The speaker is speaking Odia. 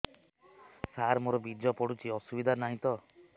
ସାର ମୋର ବୀର୍ଯ୍ୟ ପଡୁଛି କିଛି ଅସୁବିଧା ନାହିଁ ତ